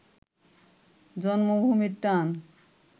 জন্মভূমির টান